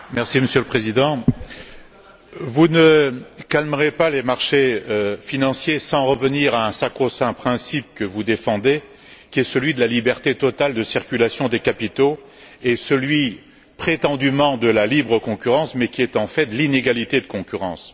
Monsieur le Président, vous ne calmerez pas les marchés financiers sans revenir sur un sacro saint principe que vous défendez, qui est celui de la liberté totale de circulation des capitaux et celui de la soi disant libre concurrence, mais qui est en fait une inégalité de concurrence.